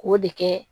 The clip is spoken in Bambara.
K'o de kɛ